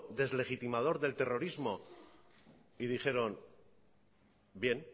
deslegitimador del terrorismo y dijeron bien